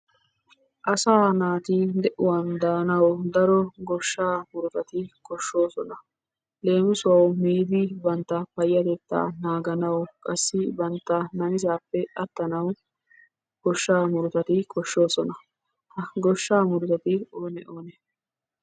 Asaa naati de'uwan daanawu daro goshshaa murutati koshshoosona. Leemisuwawu miidi bantta payyatettaa naaganawu qassi bantta namisaappe attanawu goshshaa murutati koshshoosona. Ha goshshaa murutati oonee? oonee?